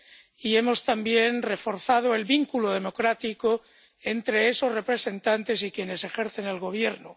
y también hemos reforzado el vínculo democrático entre esos representantes y quienes ejercen el gobierno.